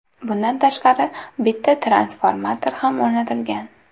Bundan tashqari, bitta transformator ham o‘rnatilgan.